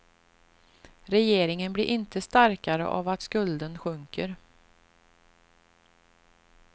Regeringen blir inte starkare av att skulden sjunker.